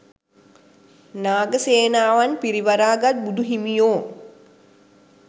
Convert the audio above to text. නාග සේනාවන් පිරිවරා ගත් බුදුහිමියෝ